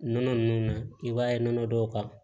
Nɔnɔ ninnu na i b'a ye nɔnɔ dɔw ka